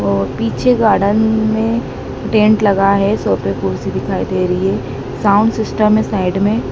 और पीछे गार्डन में टेंट लगा है सोफे कुर्सी दिखाई दे रही है साउंड सिस्टम है साइड में--